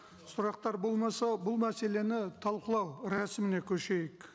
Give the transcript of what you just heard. сұрақтар болмаса бұл мәселені талқылау рәсіміне көшейік